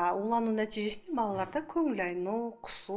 а улану нәтижесінде балаларда көңіл айну құсу